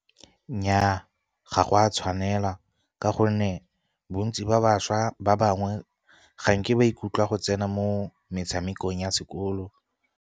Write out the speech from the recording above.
Nnyaa ga go a tshwanela ka gonne bontsi ba bašwa ba bangwe, ga nke ba ikutlwa go tsena mo metshamekong ya sekolo.